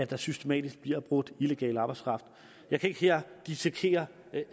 der systematisk bliver brugt illegal arbejdskraft jeg kan ikke her dissekere